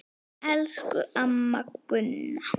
Elsku amma Gunna.